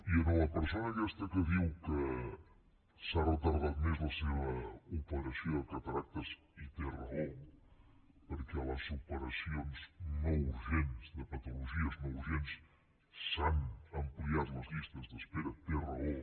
i a la persona aquesta que diu que s’ha retardat més la seva operació de cataractes i té raó perquè les operacions no urgents de patologies no urgents s’han ampliat les llistes d’espera té raó